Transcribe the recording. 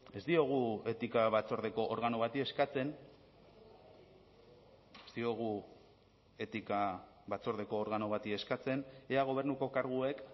ez diogu etika batzordeko organo bati eskatzen ez diogu etika batzordeko organo bati eskatzen ea gobernuko karguek